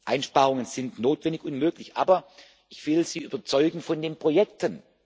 Einsparungen sind notwendig und möglich, aber ich will Sie überzeugen von den Projekten.